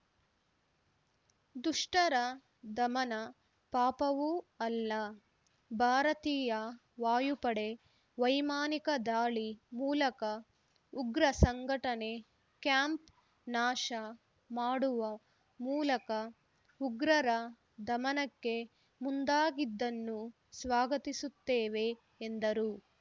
ದುಷ್ಟರ ದಮನ ಪಾಪವೂ ಅಲ್ಲ ಭಾರತೀಯ ವಾಯುಪಡೆ ವೈಮಾನಿಕ ದಾಳಿ ಮೂಲಕ ಉಗ್ರ ಸಂಘಟನೆ ಕ್ಯಾಂಪ್‌ ನಾಶ ಮಾಡುವ ಮೂಲಕ ಉಗ್ರರ ದಮನಕ್ಕೆ ಮುಂದಾಗಿದ್ದನ್ನು ಸ್ವಾಗತಿಸುತ್ತೇವೆ ಎಂದರು